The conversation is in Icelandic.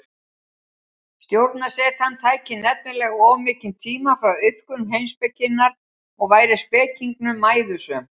Stjórnarsetan tæki nefnilega of mikinn tíma frá iðkun heimspekinnar og væri spekingnum mæðusöm.